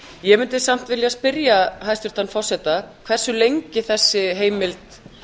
ég mundi samt vilja spyrja hæstvirtan forseta hversu lengi þessi heimild